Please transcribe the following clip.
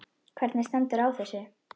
Hvernig stendur á þessu?